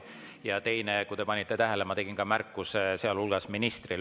Ja teiseks, kui te panite tähele, siis ma tegin märkuse, sealhulgas ministrile.